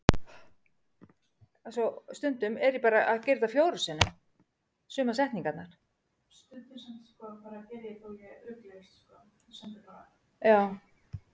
vegna vaxandi hitastigs fer suðurpóllinn smám saman minnkandi